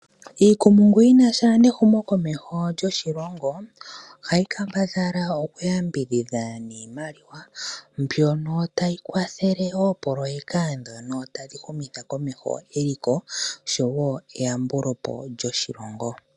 Iikumungu yi na sha nehumokomeho lyoshilongo ohayi kambadhala okuyambidhidha niimaliwa mbyono tayi kwathele oopoloyeka ndhono tadhi humitha komeho eliko nosho woo eyambulo po lyoshilongo.